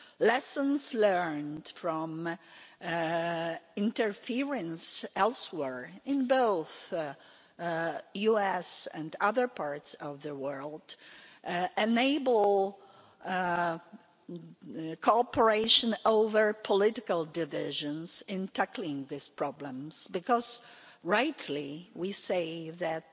Lessons learned from interference elsewhere in both the United States and other parts of the world enable cooperation over political divisions in tackling these problems because, rightly, we say that